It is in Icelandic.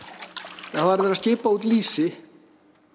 það var verið að skipa út lýsi